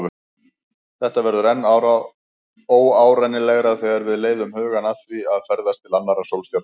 Þetta verður enn óárennilegra þegar við leiðum hugann að því að ferðast til annarra sólstjarna.